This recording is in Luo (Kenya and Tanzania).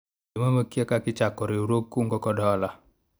jomomo okia kaka ichako riwruog kungo kod hola